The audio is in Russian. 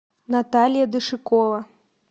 наталья дышекова